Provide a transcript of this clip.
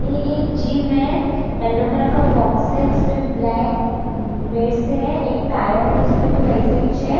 ये एक जिम है येलो कलर का बॉक्स है उस पे ब्लैक बेड्स है एक टायर्स है उस पे भी वैसा इच है।